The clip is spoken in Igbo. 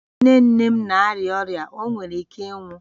Nne nne m na-arịa ọrịa, ọ nwere ike ịnwụ